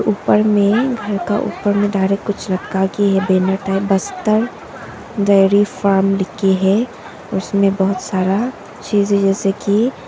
ऊपर में घर का ऊपर में डायरेक्ट कुछ रखा गी है banner type Bastar dairy farm लिखी है उसमें बहुत सारा चीज जैसे की--